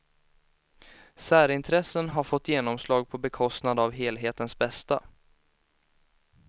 Särintressen har fått genomslag på bekostnad av helhetens bästa.